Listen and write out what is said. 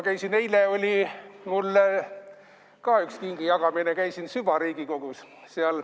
Eile oli mul ka üks kingijagamine, käisin süvariigikogus.